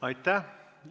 Aitäh!